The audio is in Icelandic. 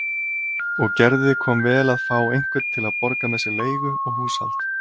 Og Gerði kom vel að fá einhvern til að borga með sér leigu og húshald.